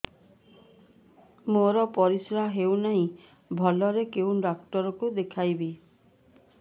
ମୋର ପରିଶ୍ରା ହଉନାହିଁ ଭଲରେ କୋଉ ଡକ୍ଟର କୁ ଦେଖେଇବି